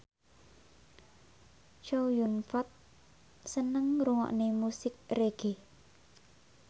Chow Yun Fat seneng ngrungokne musik reggae